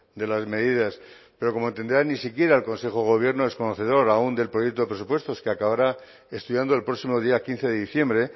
de las medidas pero como entenderá ni siquiera el consejo de gobierno es conocedor aún del proyecto de presupuestos que acabará estudiando el próximo día quince de diciembre